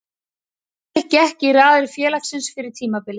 Rúrik gekk í raðir félagsins fyrir tímabilið.